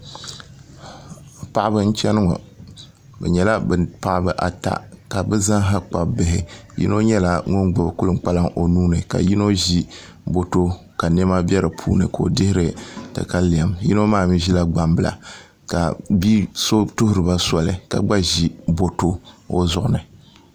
Paɣaba n chɛni ŋɔ bi nyɛla bi paɣaba ata ka bi zaaha kpabi bihi yino nyɛla ŋun gbubi kpalaŋ o nuuni ka yino ʒi boto ka niɛma bɛ di puuni ka o dihiri katalɛm yino maa mii ʒila gbambila ka bia so tuhuriba soli ka gba ʒi boto o zuɣu ni